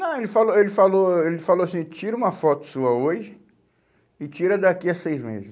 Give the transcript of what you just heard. Não, ele falou, ele falou, ele falou assim, tira uma foto sua hoje e tira daqui a seis meses.